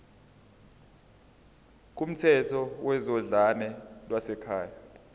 kumthetho wezodlame lwasekhaya